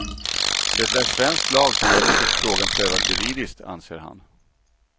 Det är svensk lag som gäller tills frågan prövats juridiskt, anser han.